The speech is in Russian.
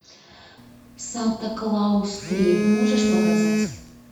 санта клаус три можешь показать